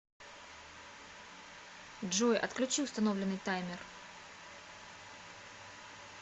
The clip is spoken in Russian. джой отключи установленный таймер